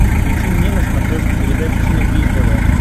включи мне на смотрешке передачу синергия тв